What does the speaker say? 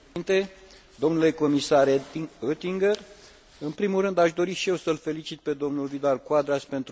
În primul rând aș dori și eu să l felicit pe domnul Vidal Quadras pentru munca depusă la acest important raport.